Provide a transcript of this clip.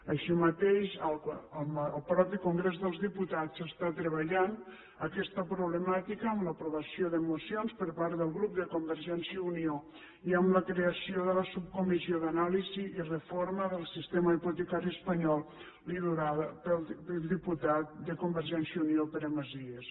així mateix el mateix congrés dels diputats està treballant aquesta problemàtica amb l’aprovació de mocions per part del grup de convergència i unió i amb la creació de la subcomissió d’anàlisi i reforma del sistema hipotecari espanyol liderada pel diputat de convergència i unió pere macias